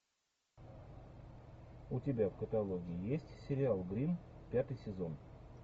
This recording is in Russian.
у тебя в каталоге есть сериал гримм пятый сезон